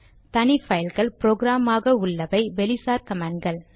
தனி பைல்கள் ப்ரொக்ராம் ஆக உள்ளவை வெளிசார் கமாண்ட் கள்